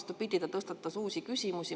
Vastupidi, ta tõstatas uusi küsimusi.